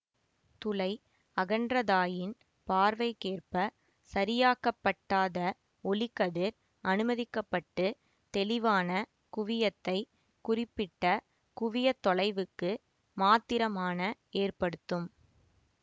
துளை அகன்றதாயின் பார்வைக்கேற்ப சரியாக்கப்பட்டாத ஒளிக்கதிர் அனுமதிக்க பட்டு தெளிவான குவியத்தை குறிப்பிட்ட குவிய தொலைவுக்கு மாத்திரமான ஏற்படுத்தும்